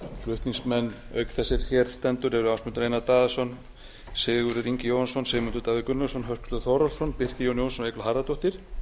flutningsmenn auk þess er hér stendur eru ásmundur einar daðason sigurður ingi jóhannsson sigmundur davíð gunnlaugsson höskuldur þórhallsson birkir jón jónsson og eygló harðardóttir